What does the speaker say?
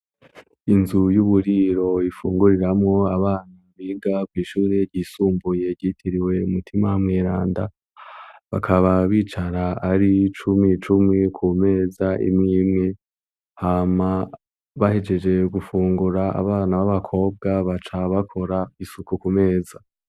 Inzu y'uburiro ifunguriramwo abana biga kw'ishuri ryisumbuye ryitiriwe Mutima mweranda bakaba bicara ari cumi cumi ku meza imwimwe hama bahejeje gufungura abana b'abakobwa baca bakora isuku ku meza.